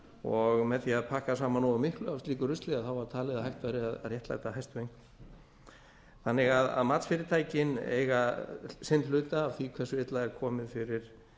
og með því að pakka saman nógu miklu af slíku rusli var talið að hægt væri að réttlæta hæstu einkunn þannig að matsfyrirtækin eiga sinn hluta af því hversu illa er komið fyrir